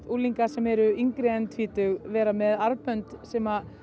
unglinga sem eru yngri en tvítug vera með armbönd sem